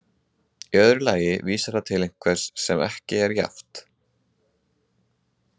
Í öðru lagi vísar það til einhvers sem ekki er jafnt.